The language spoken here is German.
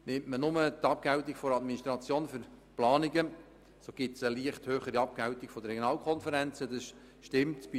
Nimmt man nur die Abgeltungen für die Administration für die Planungen, so trifft es zu, dass diese bei den Regionalkonferenzen leicht höher sind.